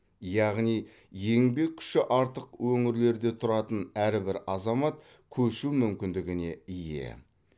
яғни еңбек күші артық өңірлерде тұратын әрбір азамат көшу мүмкіндігіне ие